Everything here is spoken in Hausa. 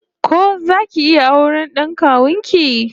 Ko zaki iya auren d'an kawun ki?